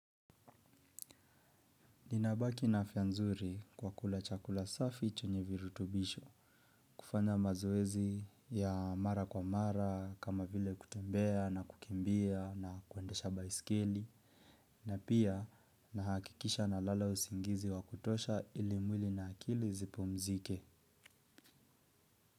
Ninabaki na afya nzuri kwa kula chakula safi chenye virutubisho, kufanya mazoezi ya mara kwa mara, kama vile kutembea na kukimbia na kuendesha baiskeli, na pia nahakikisha nalala usingizi wa kutosha ili mwili na akili zipumzike.